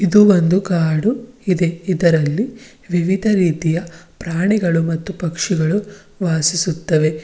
ಇದು ಒಂದು ಕಾಡು ಇದೆ ಇದರಲ್ಲಿ ವಿವಿಧ ರೀತಿಯ ಪ್ರಾಣಿಗಳು ಮತ್ತು ಪಕ್ಷಿಗಳು ವಾಸಿಸುತ್ತವೆ.